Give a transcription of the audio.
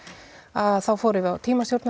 að þá fórum við á